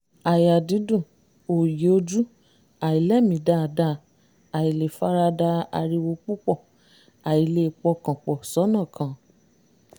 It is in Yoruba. àyà dídùn òòyì ojú àìlèmí dáadáa àìlè farada ariwo púpọọ̀ àìlè pọkàn pọ̀ sọ́nà kan